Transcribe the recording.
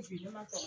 Finnan ma